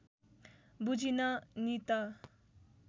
बुझिन नि त